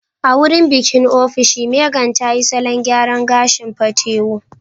A wurin bikin ofishin, Megan tayi salon gyaran gashin patewo